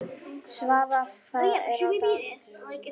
Svafar, hvað er á dagatalinu mínu í dag?